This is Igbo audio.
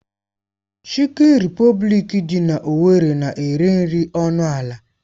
Chikin Repọblikị dị na owerri na-ere nri ọnụ ala.